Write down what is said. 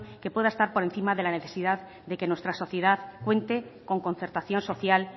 que pueda estar por encima de la necesidad de que nuestra sociedad puede ser con concertación social